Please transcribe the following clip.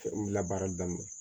labaarali daminɛ